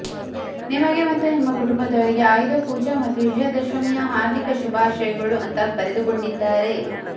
ನಿಮಗೆ ಮತ್ತು ನಿಮ್ಮ ಕುಟುಂಬದವರಿಗೆ ಆಯುಧ ಪೂಜ ಮತ್ತು ವಿಜಯ ದಶಮಿಯ ಹಾರ್ಧಿಕ ಶುಭಾಶಯಗಳು ಅಂತಾ ಬರೆದುಕೊಂಡಿದ್ದಾರೆ